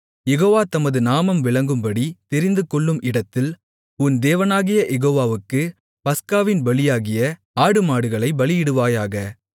யெகோவா தமது நாமம் விளங்கும்படி தெரிந்துகொள்ளும் இடத்தில் உன் தேவனாகிய யெகோவாவுக்குப் பஸ்காவின் பலியாகிய ஆடுமாடுகளைப் பலியிடுவாயாக